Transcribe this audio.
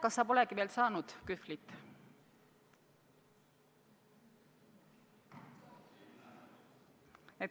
Kas sa polegi veel saanud kühvlit?